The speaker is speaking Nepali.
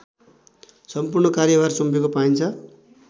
सम्पूर्ण कार्यभार सुम्पेको पाइन्छ